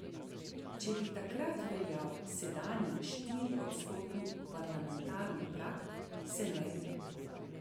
Če bi takrat veljal sedanji štiriodstotni parlamentarni prag, se ne bi.